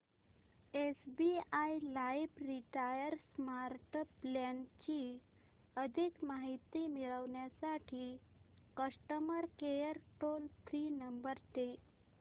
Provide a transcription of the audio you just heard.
SBI life retire smart plan ची अधिक माहिती मिळविण्यासाठी customer care toll free number दे